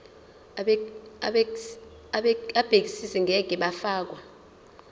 abegcis ngeke bafakwa